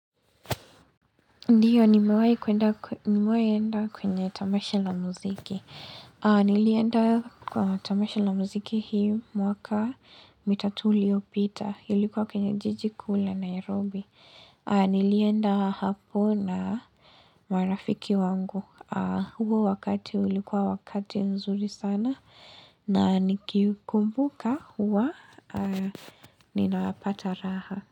Ndiyo, nimewai enda kwenye tamasha la muziki. Nilienda kwa tamasha la muziki hii mwaka mitatu uliopita. Ilikuwa kwenye jiji kuu la, Nairobi. Nilienda hapo na marafiki wangu. Huko wakati ulikuwa wakati nzuri sana na nikikumbuka huwa ninapata raha.